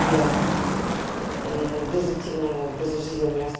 я без активного образа жизни у меня